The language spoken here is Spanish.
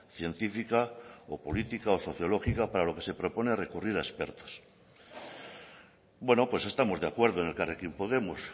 científica o política o sociológica para lo que se propone recurrir a expertos bueno pues estamos de acuerdo en elkarrekin podemos